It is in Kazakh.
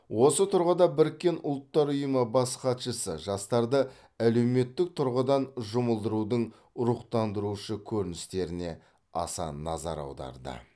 осы тұрғыда біріккен ұлттар ұйымы бас хатшысы жастарды әлеуметтік тұрғыдан жұмылдырудың рухтандырушы көріністеріне аса назар аударды